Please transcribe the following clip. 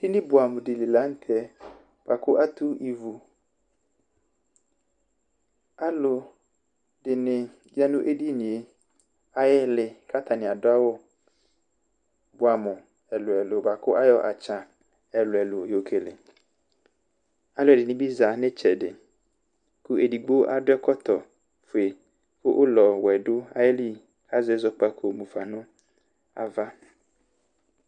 Edini buamu di li la nu tɛ buaku atu ivu Alu dini ya nu edini yɛ ayu iili ku atani adu awu buamu ɛlu ɛlu bua ku ayɔ atsã ɛlu ɛlu yɔkele Alu ɛdini bi za nu itsɛdi ku edigbo adu ɛkɔtɔ fue ku ulɔ wɛ du ayili ku azɛ zɔkpako mufa nu ava